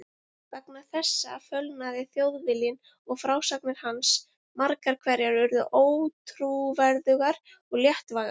Vegna þessa fölnaði Þjóðviljinn og frásagnir hans margar hverjar urðu ótrúverðugar og léttvægar.